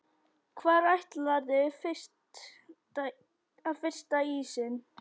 Hvar ætlarðu að frysta ísinn?